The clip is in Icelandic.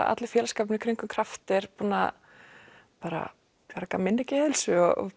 allur félagsskapurinn í kringum kraft er búinn að bara bjarga minni geðheilsu og